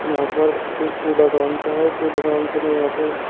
यहां पर एक कूड़ादान सा है और कूड़ादन सा में यहां पर--